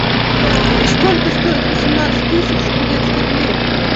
сколько стоит восемнадцать тысяч турецких лир